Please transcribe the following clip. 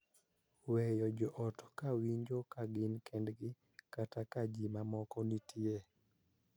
Weyo jo ot ka winjo ka gin kendgi kata ka ji mamoko nitie.